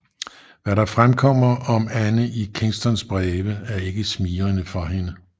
Hvad der fremkommer om Anne i Kingstons breve er ikke smigrende for hende